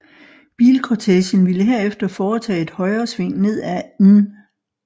Bilkortegen ville herefter fortage et højresving ned ad N